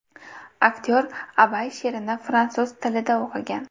Aktyor Abay she’rini fransuz tilida o‘qigan.